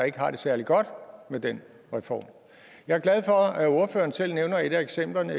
ikke har det særlig godt med den reform jeg er glad for at ordføreren selv nævner et af eksemplerne